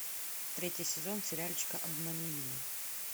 третий сезон сериальчика обмани меня